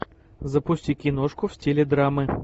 запусти киношку в стиле драмы